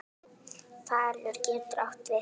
Falur getur átt við